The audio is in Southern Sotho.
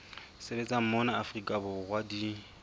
sebetsang mona afrika borwa di